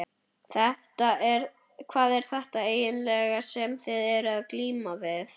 Hvað er þetta eiginlega sem þið eruð að glíma við?